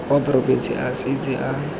wa porofense a setse a